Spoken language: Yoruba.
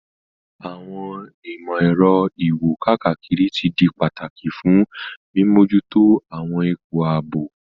Àwọn ìmò-èro iwo-kakiri ti di pataki fun mimojuto àwọn ipo aabo.